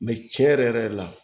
tiɲɛ yɛrɛ yɛrɛ la